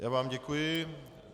Já vám děkuji.